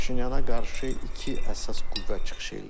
Paşinyana qarşı iki əsas qüvvə çıxış eləyir.